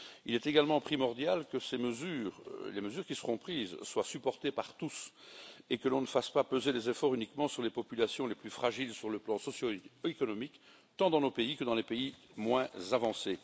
Il est également primordial que ces mesures, les mesures qui seront prises, soient supportées par tous et que l'on ne fasse pas peser les efforts uniquement sur les populations les plus fragiles sur le plan socio économique, tant dans nos pays, que dans les pays moins avancés.